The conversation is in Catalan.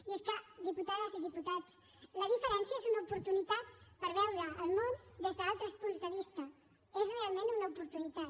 i és que diputades i diputats la diferència és una oportunitat per veure el món des d’altres punts de vista és realment una oportunitat